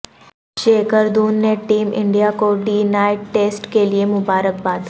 شیکھردھون نے team India کو day night test کیلئے مبارک باد